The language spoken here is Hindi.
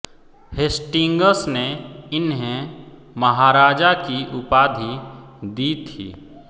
हेस्टिंग्स ने इन्हें महाराजा की उपाधि दी थी